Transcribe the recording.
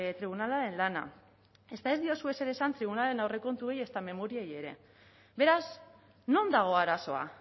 tribunalaren lana ezta ez diozue ezer esan tribunalaren aurrekontuei ezta memoriei ere beraz non dago arazoa